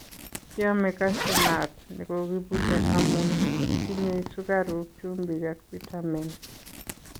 Kiome Cashew nut nekokibute amun tinye sukaruk, chumbik ak pitamen.